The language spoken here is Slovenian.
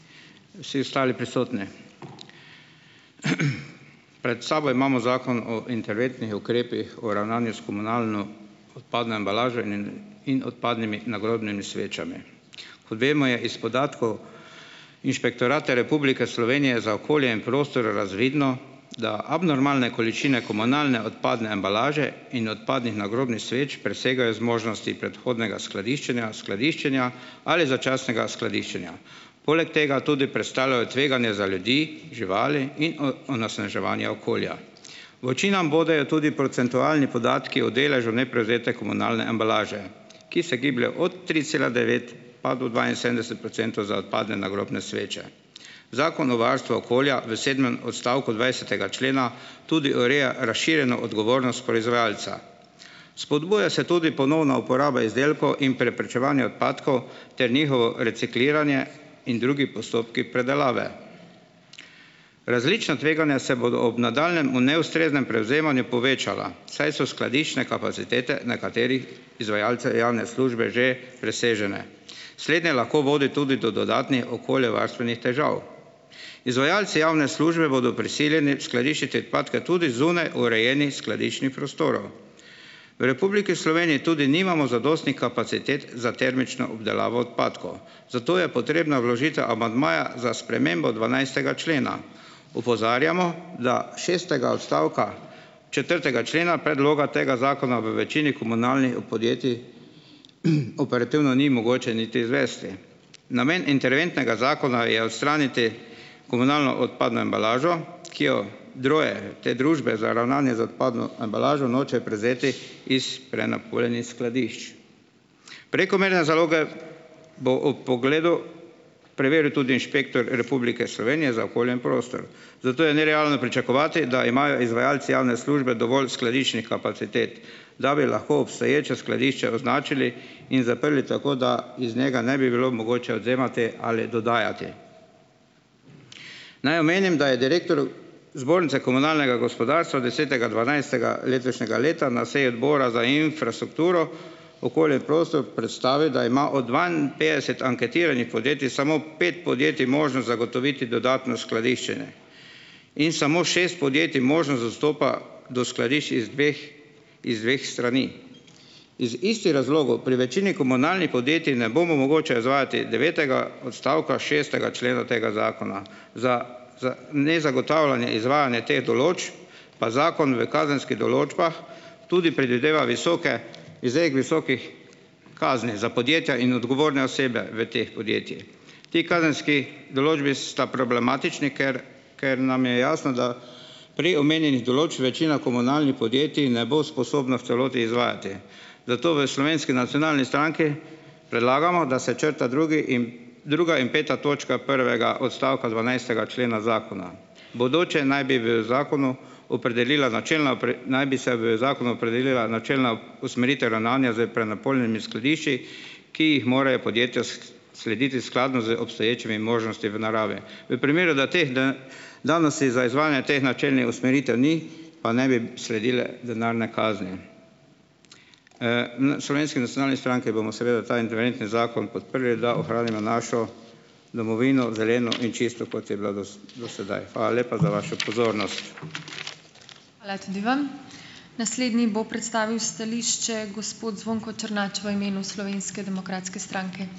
Vsi ostali prisotni. Pred sabo imamo Zakon o interventnih ukrepih o ravnanju s komunalno odpadno embalažo nin in odpadnimi nagrobnimi svečami. Kot vemo, je iz podatkov Inšpektorata Republike Slovenije za okolje in prostor razvidno, da abnormalne količine komunalne odpadne embalaže in odpadnih nagrobnih sveč presegajo zmožnosti predhodnega skladiščenja skladiščenja ali začasnega skladiščenja. Poleg tega tudi predstavljajo tveganje za ljudi, živali in onasnaževanja okolja. V oči nam bodejo tudi procentualni podatki o deležu neprevzete komunalne embalaže, ki se giblje od tri cela devet pa do dvainsedemdeset procentov za odpadne nagrobne sveče. Zakon o varstvu okolja v sedmem odstavku dvajsetega člena tudi ureja razširjeno odgovornost proizvajalca. Spodbuja se tudi ponovna uporaba izdelkov in preprečevanja odpadkov ter njihovo recikliranje in drugi postopki predelave. Različna tveganja se bodo ob nadaljnjem o neustreznem prevzemanju povečala, saj so skladiščne kapacitete nekaterih izvajalcev javne službe že presežene. Slednje lahko vodi tudi do dodatnih okoljevarstvenih težav. Izvajalci javne službe bodo prisiljeni skladiščiti odpadke tudi zunaj urejenih skladiščnih prostorov. V Republiki Sloveniji tudi nimamo zadostnih kapacitet za termično obdelavo odpadkov, zato je potrebna vložitev amandmaja za spremembo dvanajstega člena. Opozarjamo, da šestega odstavka četrtega člena predloga tega zakona v večini komunalnih podjetij operativno ni mogoče niti izvesti. Namen interventnega zakona je odstraniti komunalno odpadno embalažo, ki jo droje te družbe za ravnanje z odpadno embalažo nočejo prevzeti iz prenapolnjenih skladišč. Prekomerne zaloge bo ob pogledu preveril tudi inšpektor Republike Slovenije za okolje in prostor, zato je nerealno pričakovati, da imajo izvajalci javne službe dovolj skladiščnih kapacitet, da bi lahko obstoječa skladišča označili in zaprli tako, da iz njega ne bi bilo mogoče odvzemati ali dodajati. Naj omenim, da je direktor Zbornice komunalnega gospodarstva desetega dvanajstega letošnjega leta na seji odbora za infrastrukturo, okolje in prostor predstavil, da ima od dvainpetdeset anketiranih podjetij samo pet podjetij možnost zagotoviti dodatno skladiščenje in samo šest podjetij možnost dostopa do skladišč iz dveh iz dveh strani. Iz istih razlogov pri večini komunalnih podjetij ne bo mogoče izvajati devetega odstavka šestega člena tega zakona. Za za nezagotavljanje izvajanja te določbe pa zakon v kazenskih določbah tudi predvideva visoke, izrek visokih kazni za podjetja in odgovorne osebe v teh podjetjih. Ti kazenski določbi sta problematični, ker ker nam je jasno, da prej omenjenih določb večina komunalnih podjetij ne bo sposobna v celoti izvajati. Zato v Slovenski nacionalni stranki predlagamo, da se črta drugi in druga in peta točka prvega odstavka dvanajstega člena zakona. Bodoče naj bi v zakonu opredelila načelna naj bi se v zakonu opredelila načelna usmeritev ravnanja s prenapolnjenimi skladišči, ki jih morajo podjetja slediti skladno z obstoječimi možnosti v naravi. V primeru, da teh da danosti za izvajanje teh načelnih usmeritev ni, pa naj bi sledile denarne kazni. Slovenski nacionalni stranki bomo seveda ta interventni zakon podprli, da ohranimo našo domovino zeleno in čisto, kot je bila do do sedaj. Hvala lepa za vašo pozornost.